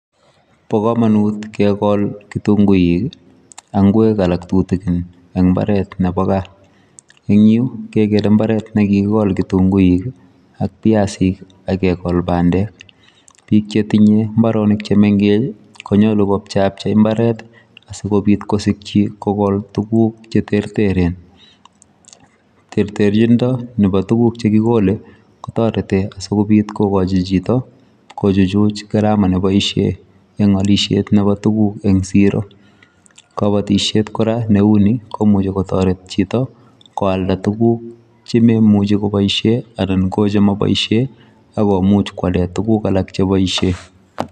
Bo kamanut kegol kitunguuik ii ak ngweeg alaak tutugin eng mbaret nebo gaah eng Yuu kegere mbaret nekikol kitunguuik ii ak biasiik ii ak kegol pandeek, biik che tinyei mbaronik che mengeech konyaluu ko chepachei mbaret asikobiit kosikyiin kogol tuguuk che terteren, terterchindoo nebo tuguuk che ki kole kotaretii asikobiit kokochi chitoo kochuchuj gharama neboisien eng alisiet nebo tuguuk eng siro , kabatisyeet kora ne uu ni komuchei kotaret chitoo koaldaa tuguuk che maimuchei kobaisheen anan ko che ma boisien akomuuch koyaleen tuguuk alaak chebaisheen.